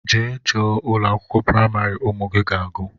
Jee chọọ ụlọakwụkwọ primari ụmụ gị ga-agu!!!